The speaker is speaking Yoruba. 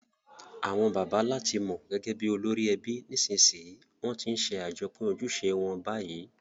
Àwon bàbá làti mo gẹ́gẹ́ bi olórí ebi, nìsnsìnyí won ti n se àjopín ojúse won bayi